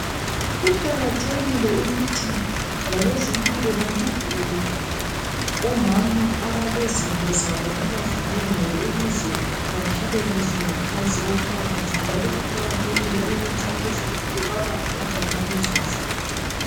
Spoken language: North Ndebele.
Kuqakathekile ukuthi labezempilo banomvulele omama abalezinto zabo abazidingayo ukuze baphile kuhle ngaphansi kwomphakathi njalo kuqakathekile ukuthi abazempilo babaphe omama lezo zinto.